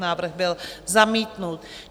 Návrh byl zamítnut.